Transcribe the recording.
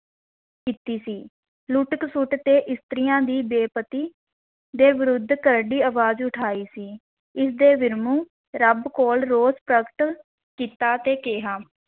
ਕੀਤੀ ਸੀ, ਲੁੱਟ-ਖਸੁੱਟ ਤੇ ਇਸਤਰੀਆਂ ਦੀ ਬੇ-ਪਤੀ ਦੇ ਵਿਰੁੱਧ ਕਰੜੀ ਅਵਾਜ਼ ਉਠਾਈ ਸੀ, ਇਸ ਦੇ ਰੱਬ ਕੋਲ ਰੋਸ ਪ੍ਰਗਟ ਕੀਤਾ ਤੇ ਕਿਹਾ,